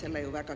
Teie aeg!